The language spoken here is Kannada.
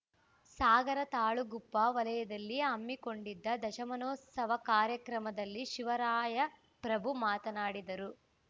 ಸಾಗರ ತಾಳಗುಪ್ಪ ವಲಯದಲ್ಲಿ ಹಮ್ಮಿಕೊಂಡಿದ್ದ ದಶಮಾನೋತ್ಸವ ಕಾರ್ಯಕ್ರಮದಲ್ಲಿ ಶಿವರಾಯ ಪ್ರಭು ಮಾತನಾಡಿದರು